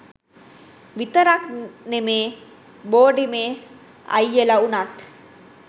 විතරක් නෙමේ බෝඩිමේ අයියල උනත්